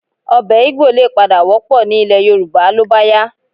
Ọbẹ̀ Igbò lè padà wọ́pọ̀ ní ilẹ̀ Yorùbá ló bá yá